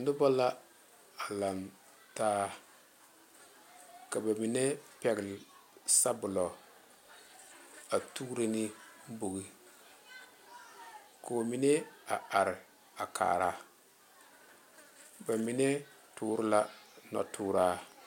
Noba la a laŋ taa ka ba mine pegle sabula a tuuro ne bogi koo mine a are a kaara ba mine toore la noɔ toraa.